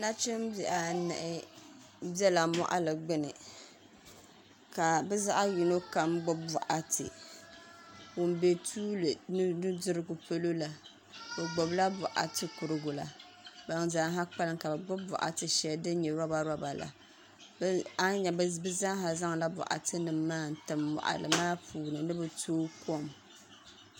Nachimbihi anahi biɛla moɣali gbuni ka bi zaɣ yino kam gbubi boɣati bin bɛ tuuli ni nudirigu polo la bi gbubila boɣati kurigu la ban zaaha kpalim ka bi gbubi boɣati shɛli din nyɛ roba roba la bi zaaha zaŋla boɣati nim maa n tim moɣali maa puuni ni bi tooi kom